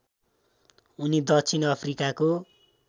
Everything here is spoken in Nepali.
उनी दक्षिण अफ्रिकाको